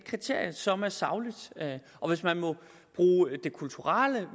kriterium som er sagligt og hvis man må bruge det kulturelle og